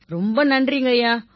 ரொம்ப நன்றிங்கய்யா